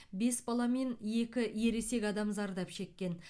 бес бала мен екі ересек адам зардап шеккен